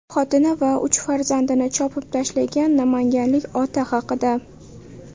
Xotini va uch farzandini chopib tashlagan namanganlik ota haqida.